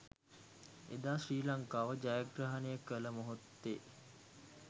එදා ශ්‍රී ලංකාව ජයග්‍රහණය කළ මොහොතේ